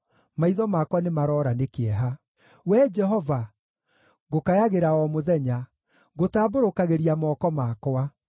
maitho makwa nĩmaroora nĩ kĩeha. Wee Jehova, ngũkayagĩra o mũthenya; ngũtambũrũkagĩria moko makwa.